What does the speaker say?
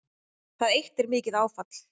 Það eitt er mikið áfall